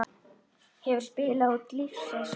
Hefur spilað úr lífsins hönd.